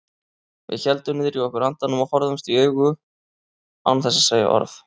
Við héldum niðri í okkur andanum og horfðumst í augu án þess að segja orð.